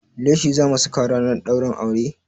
Leshi zamu saka ranar ɗaurin aure?